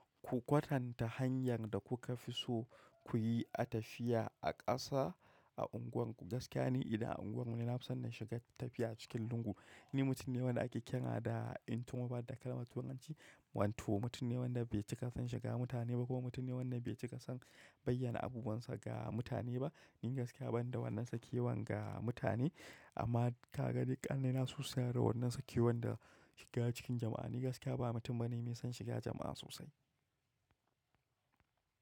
Ku kwatanta hanyar da kuka fi so kuyi a tafiya a ƙasa a unguwarku. Gaskiya ne idan a unguwar mu nafi son na shiga tafiya cikin lungu. Ni mutum ne wanda ake kira da introvert da kalmar turanci. Wanto mutum ne wanda bai cika son shiga mutane ba ko mutum ne wanda bai cika son bayyana abubuwansa ga mutane ba. Ni gaskiya ban da wannan sakewan ga mutane amma ka ga duk ƙanne na su suna da wannan sakewan da shiga cikin jama'a. Ni gaskiya ba mutum bane mai son shiga jama'a sosai.